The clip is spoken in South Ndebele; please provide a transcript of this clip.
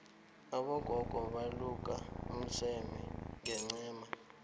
abogogo baluka umseme ngencema